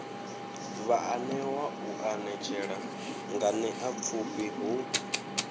vhaanewa u anetshela nganeapfhufhi hu